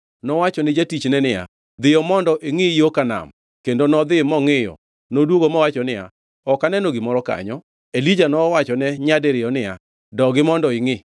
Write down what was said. Nowacho ni jatichne niya, “Dhiyo mondo ingʼi yo ka nam.” Kendo nodhi mongʼiyo. Noduogo mowacho niya, “Ok aneno gimoro kanyo.” Elija nowachone nyadibiriyo niya, “Dogi mondo ingʼi.”